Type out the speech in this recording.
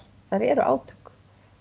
eru átök